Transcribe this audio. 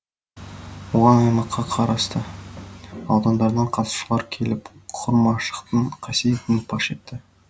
оған аймаққа қарасты аудандардан қатысушылар келіп құр машықтың қасиетін паш етті